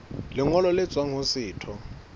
lengolo le tswang ho setho